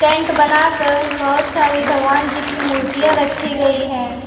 Tent बनाकर बहुत सारी भगवान जी की मूर्तियां रखी गई है।